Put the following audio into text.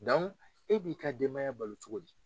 e b'i ka denbaya balo cogo di